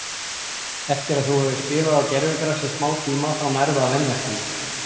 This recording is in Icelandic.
Eftir að þú hefur spilað á gervigrasi í smá tíma þá nærðu að venjast því.